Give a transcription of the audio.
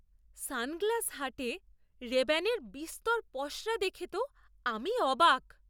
Sunglass হাটে রেব্যানের বিস্তর পসরা দেখে তো আমি অবাক!